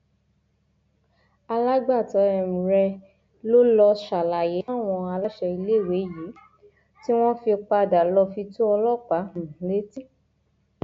alágbàtọ um rẹ ló lọọ ṣàlàyé fáwọn aláṣẹ iléèwé yìí tí wọn fi padà lọọ fi tó ọlọpàá um létí